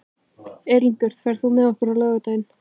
Elínbjört, ferð þú með okkur á laugardaginn?